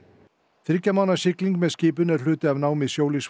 þriggja mánaða sigling með skipinu er hluti af námi